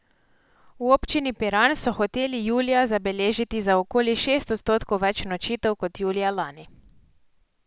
V Občini Piran so hoteli julija zabeležili za okoli šest odstotkov več nočitev kot julija lani.